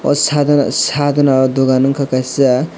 o sadona sadona o dogan ungka kaisa.